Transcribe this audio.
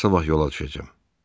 Mən sabah yola düşəcəm.